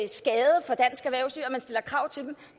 man stiller krav til